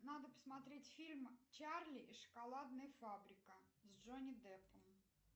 надо посмотреть фильм чарли и шоколадная фабрика с джонни деппом